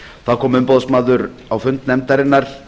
þá kom umboðsmaður á fund nefndarinnar